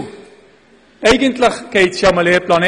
Denn eigentlich geht es ja um den Lehrplan 21.